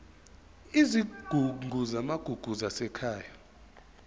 izigungu zamagugu zasekhaya